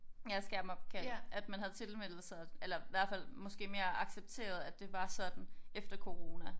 Ja skærmopkald at man havde tilmeldt sig eller hvert fald måske mere accepteret at det var sådan efter corona